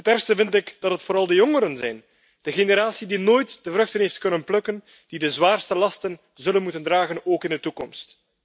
Het ergste vind ik dat het vooral de jongeren zijn, de generatie die nooit de vruchten heeft kunnen plukken, die de zwaarste lasten zullen moeten dragen, ook in de toekomst.